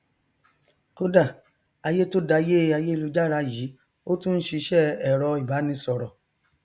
kódà ayé tó dayé ayélujára yìí ó tún n ṣiṣẹ ẹrọ ìbánisọrọ